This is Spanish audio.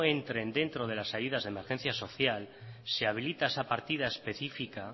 entren dentro de las ayudas de emergencia social se habilita esa partida específica